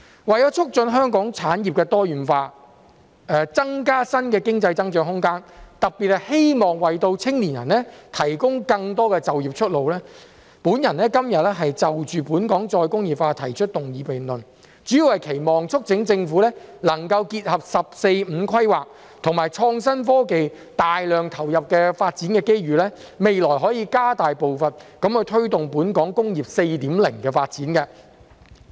為了促進香港產業多元化、增加新的經濟增長空間，特別希望為青年人提供更多就業出路，我今天就"本港再工業化"提出議案辯論，主要是期望及促請政府能夠結合"十四五"規劃及創新科技大量投入的發展機遇，未來可以加大步伐，推動本港"工業 4.0" 的發展。